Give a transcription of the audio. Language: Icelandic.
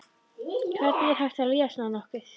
Hvernig er hægt að líða svona nokkuð?